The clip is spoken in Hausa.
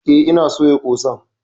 Eh ina soya ƙosan.